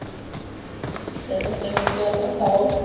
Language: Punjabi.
ਚਲੋ ਚੰਗੀ ਜਾਨ ਨਾਲ ਸਤਾਓ